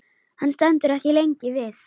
Hann stendur ekki lengi við.